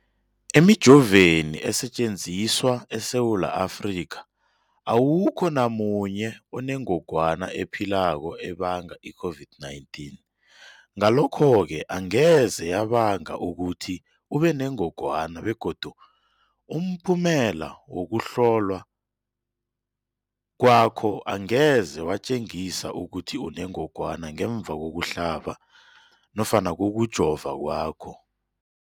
Emijoveni esetjenziswa eSewula Afrika, awukho namunye onengog wana ephilako ebanga i-COVID-19. Ngalokho-ke angeze yabanga ukuthi ubenengogwana begodu umphumela wokuhlolwan kwakho angeze watjengisa ukuthi unengogwana ngemva kokuhlabz nofana kokujova kwakho.